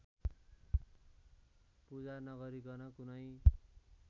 पूजा नगरीकन कुनै